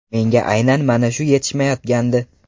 Menga aynan mana shu yetishmayotgandi.